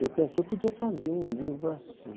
E eu pensei, eu podia fazer um livro assim.